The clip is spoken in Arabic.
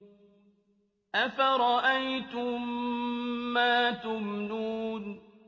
أَفَرَأَيْتُم مَّا تُمْنُونَ